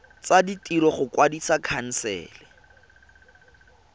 tsa ditiro go kwadisa khansele